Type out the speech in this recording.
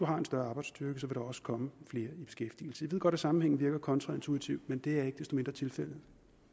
har en større arbejdsstyrke så vil der også komme flere i beskæftigelse jeg ved godt at sammenhængen virker kontraintuitivt men det er ikke desto mindre tilfældet